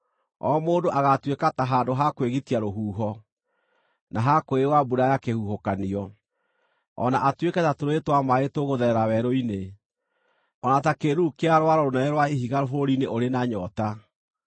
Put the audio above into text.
O mũndũ agaatuĩka ta handũ ha kwĩgitia rũhuho, na ha kwĩyũa mbura ya kĩhuhũkanio, o na atuĩke ta tũrũũĩ twa maaĩ tũgũtherera werũ-inĩ, o na ta kĩĩruru kĩa rwaro rũnene rwa ihiga bũrũri-inĩ ũrĩ na nyoota.